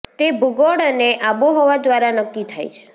તે ભૂગોળ અને આબોહવા દ્વારા નક્કી થાય છે